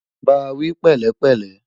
bá wí pẹlẹ pele